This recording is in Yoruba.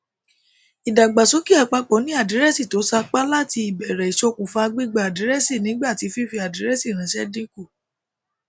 ìdàgbàsókè àpapọ ni àdírẹẹsì to sápá láti ìbèrè isokufa gbígba àdírẹẹsìnígbà tí fífi àdírẹẹsì ranṣẹ dínkù